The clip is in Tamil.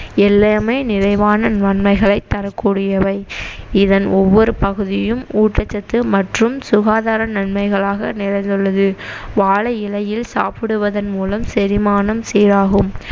எல்லாமே நிறைவான நன்மைகளை தரக்கூடியவை இதன் ஒவ்வொரு பகுதியும் ஊட்டச்சத்து மற்றும் சுகாதார நன்மைகளாக நிறைந்துள்ளது வாழை இலையில் சாப்பிடுவதன் மூலம் செறிமானம் சீராகும்